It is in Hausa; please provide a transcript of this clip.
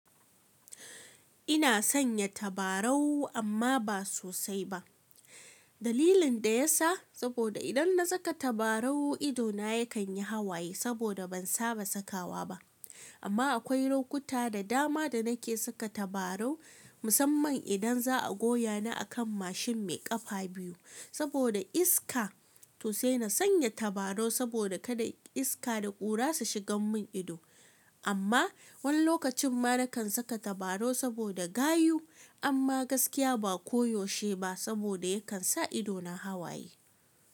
Ina sanya tabarau amma ba sosai ba. Dalilin da ya sa saboda idan na saka tabarau ido na yakan yi hawaye saboda ban saba sakawa ba. Amma akwai lokuta da dama da nake saka tabarau musamman idan za a goya ni a kan mashin mai kafa biyu saboda iska. To sai na sanya tabarau saboda kada iska da ƙura su shigan mun ido. Amma wani lokacin ma na kan saka tabarau saboda gayu amma gaskiya ba koyaushe ba saboda yakan sa ido na hawaye.